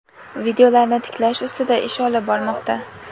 videolarni tiklash ustida ish olib bormoqda.